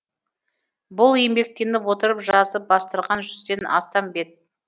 бұл еңбектеніп отырып жазып бастырған жүзден астам бет